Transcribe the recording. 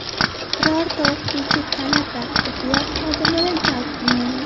Birorta o‘qituvchi, talaba, tibbiyot xodimini jalb qilmaymiz.